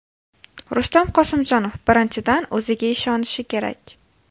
Rustam Qosimjonov: Birinchidan, o‘ziga ishonishi kerak.